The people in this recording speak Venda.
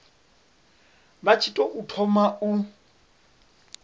vha tshi tou thoma u